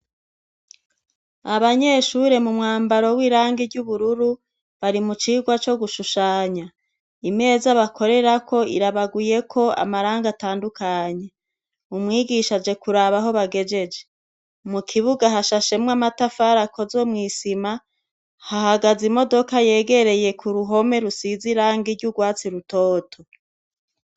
Abanyeshure mu mwambaro w'irangi ry'ubururu bari mu cigwa co gushushanya, imeza bakorerako irabaguyeko amarangi atandukanye, umwigisha aje kuraba aho bagejeje, mu kibuga hashashemwo amatafari akozwe mw'isima, hahagaze imodoka yegereye ku ruhome rusize irangi ry'urwatsi rutoto.